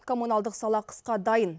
коммуналдық сала қысқа дайын